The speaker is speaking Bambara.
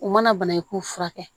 U mana banakun furakɛ